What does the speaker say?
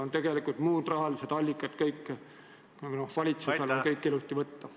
Oleme olukorras, kus valitsusel on kõik muud rahalised allikad ilusti võtta.